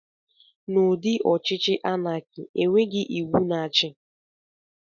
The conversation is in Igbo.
Na ụdị ọchịchị anaki, enweghị iwu na-achi.